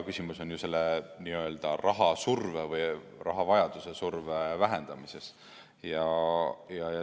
Küsimus on selle n-ö raha surve või rahavajaduse surve vähendamises.